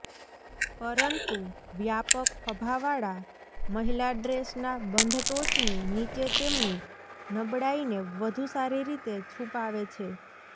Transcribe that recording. પરંતુ વ્યાપક ખભાવાળા મહિલા ડ્રેસના બંધ ટોચની નીચે તેમની નબળાઈને વધુ સારી રીતે છુપાવે છે